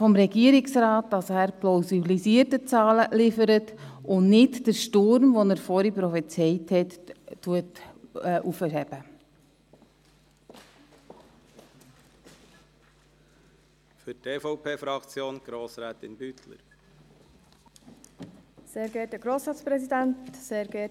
Vom Regierungsrat erwarte ich aber, dass er plausibilisierte Zahlen liefert und den Sturm nicht hervorruft, den er eben prophezeit hat.